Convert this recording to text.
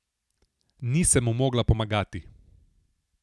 Nisem mu mogla pomagati.